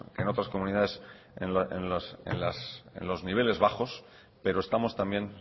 en otras comunidades en los niveles bajos pero estamos también